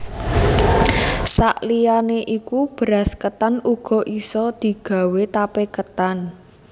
Sak liyane iku beras ketan uga isa digawé tape ketan